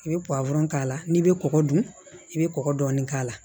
I bɛ k'a la n'i bɛ kɔgɔ dun i bɛ kɔkɔ dɔɔnin k'a la